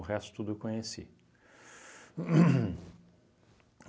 resto tudo eu conheci. Uhn